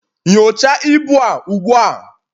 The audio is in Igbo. nyocha ibu a ugbua!